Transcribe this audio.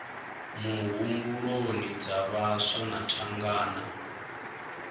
muhumbuloni dza vhaswa na thangana